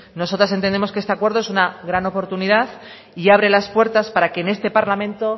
nosotras entendemos que este acuerdo es una gran oportunidad y abre las puertas para que en este parlamento